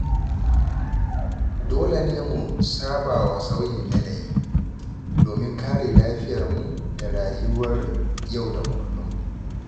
Dole ne mu sabawa sauyin yanayi, domin kare lafiyarmu da rayuwar yau da kullum.